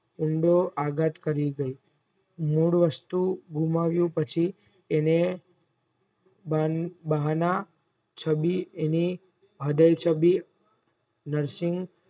ઊંડો આઘાત કરી ગઈ main વસ્તુ ગુમાવ્યું પછી અને બહાના ચાબી અણી હદય ચાબી